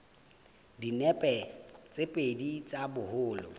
dinepe tse pedi tsa boholo